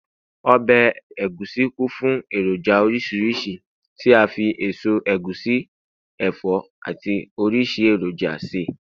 obe egusi kún fún eroja orísirísi ti a fi eso egusi, ẹfọ ati orisi eroja se